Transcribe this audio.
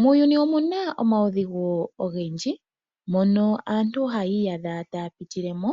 Muuyuni omuna omawudhigu ogendji mono aantu haya iyadha taapitilemo